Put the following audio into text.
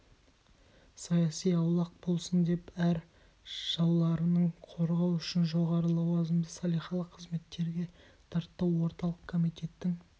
саяси аулақ болсын деп әр жауларынан қорғау үшін жоғары лауазымды салихалы қызметтерге тартты орталық комитеттің